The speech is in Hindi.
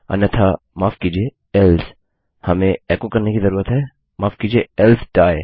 अन्यथा माफ कीजिए एल्से हमें एको करने की जरूरत है माफ कीजिए एल्से डाइ